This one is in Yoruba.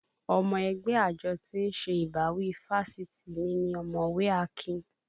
Ọmọ ẹgbẹ́ àjọ tí ń ṣe ìbáwí fáṣitì mi ni ọ̀mọ̀wẹ́ Akin